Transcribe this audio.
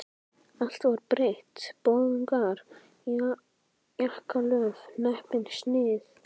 Allt var breytt, boðungar, jakkalöf, hnepping, snið.